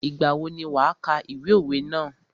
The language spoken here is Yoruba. Ìgbà wo ni wà kà ìwé òwe ná?